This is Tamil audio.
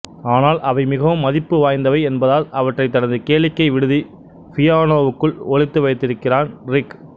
ஆனால் அவை மிகவும் மதிப்பு வாய்ந்தவை என்பதால் அவற்றைத் தனது கேளிக்கை விடுதி பியானோவுக்குள் ஒளித்து வைத்திருக்கிறான் ரிக்